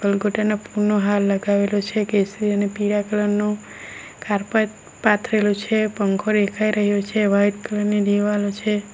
ગલગોટા ના ફૂલ નો હાર લગાવેલો છે કેસરી અને પીળા કલર નો કારપેટ પાથરેલુ છે પંખો દેખાઈ રહ્યો છે વાઈટ કલર ની દીવાલો છે.